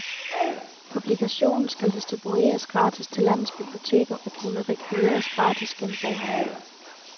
Publikationen skal distribueres gratis til landets biblioteker og kunne rekvireres gratis gennem boghandlere.